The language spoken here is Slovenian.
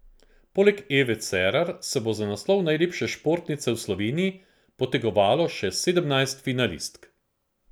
Poleg Eve Cerar se bo za naslov najlepše športnice v Slovenije potegovalo še sedemnajst finalistk.